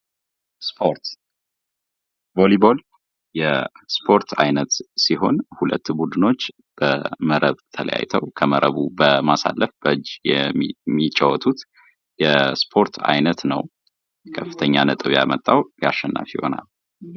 ስፖርት ፡-ቮሊ ቦል በሁለት ቡድኖች በመረብ ተለያይተው ከመረቡ በማሳለፍ በእጅ የሚጫወቱት የስፖርት አይነት ነው ።ከፍተኛ ነጥብ ያመጣው አሸናፊ ይሆናል።